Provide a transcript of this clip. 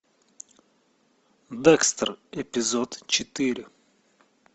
декстер эпизод четыре